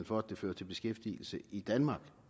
for at det fører til beskæftigelse i danmark